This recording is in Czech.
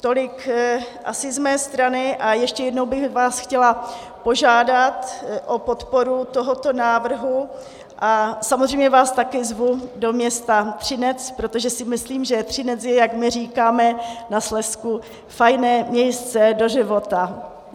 Tolik asi z mé strany a ještě jednou bych vás chtěla požádat o podporu tohoto návrhu a samozřejmě vás také zvu do města Třinec, protože si myslím, že Třinec je, jak my říkáme na Slezsku "fajne miejsce do života".